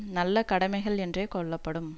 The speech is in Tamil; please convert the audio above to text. நல்ல கடமைகள் என்றே கொள்ளப்படும்